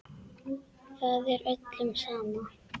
Það er öllum sama.